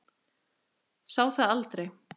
Sá það aldrei